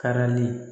Karili